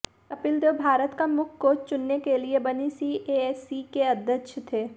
कपिल देव भारत का मुख्य कोच चुनने के लिए बनी सीएसी के अध्यक्ष थे